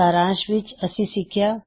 ਸਾਰਾਂਸ਼ ਵਿੱਚ ਅਸੀ ਸਿਖਿਆ